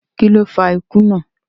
Kí ló fa ikú náà?